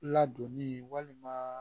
Ladonni walima